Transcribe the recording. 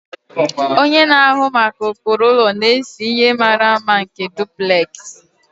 Onye na-ahụ maka ụkpụrụ ụlọ na-ese ihe mara mma nke duplex